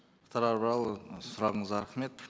мұхтар абрарұлы сұрағыңызға рахмет